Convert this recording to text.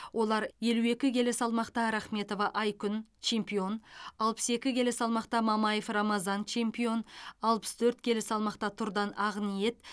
олар елу екі келі салмақта рахметова айкүн чемпион алпыс екі келі салмақта мамаев рамазан чемпион алпыс төрт келі салмақта тұрдан ақниет